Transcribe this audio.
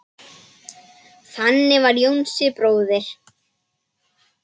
Þannig var Jónsi bróðir.